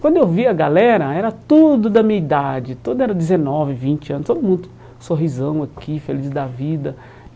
Quando eu vi a galera, era tudo da minha idade, tudo era dezenove, vinte anos, todo mundo sorrisão aqui, feliz da vida.